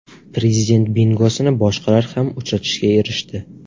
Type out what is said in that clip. Prezident bingosini boshqalar ham uchratishga erishdi.